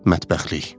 Mətbəxlik.